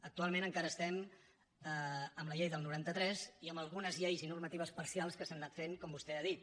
actualment encara estem amb la llei del noranta tres i amb algunes lleis i normatives parcials que s’han anat fent com vostè ha dit